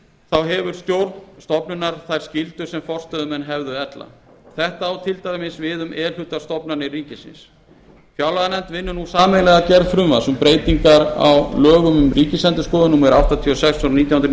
stjórn stofnunar hefur hún þær skyldur sem forstöðumenn hefðu ella þetta á til dæmis við e hluta stofnanir ríkisins fjárlaganefnd vinnur nú sameiginlega að gerð frumvarps um breytingar á lögum um ríkisendurskoðun númer áttatíu og sex nítján hundruð